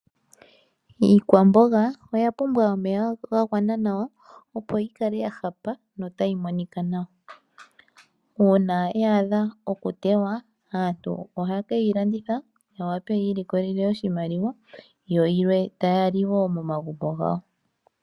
Iikwamboga oya pumbwa omeya ga gwana nawa, opo yi kale ya hapa, nota yi monika nawa. Uuna ya adha oku tewa, aantu ohaa ke yi landitha, ya wape yi ilikolele oshimaliwa, yo yilwe ta ya li wo momagumbo gawo.